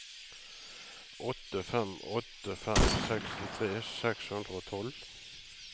åtte fem åtte fem sekstitre seks hundre og tolv